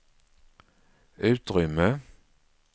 utrymme